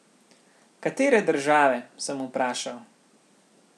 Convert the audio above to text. Katere države, sem vprašal.